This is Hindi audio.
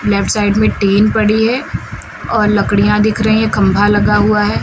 लेफ्ट साइड में टिन पड़ी है और लकड़ियां दिख रही हैं खंभा लगा हुआ है।